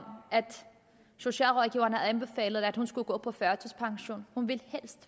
socialrådgiverne havde anbefalet at hun skulle gå på førtidspension hun ville